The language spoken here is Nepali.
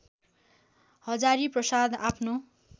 हजारीप्रसाद आफ्नो